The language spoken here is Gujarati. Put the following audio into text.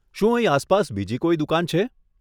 શું અહીં આસપાસ બીજી કોઈ દુકાન છે?